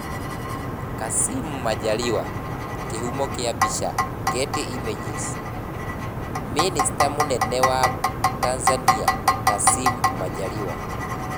Kassim Majaliwa, Kĩhumo kĩa mbica, Getty images, Mĩnĩcita mũnene wa Tanzania, Kassim Majaliwa.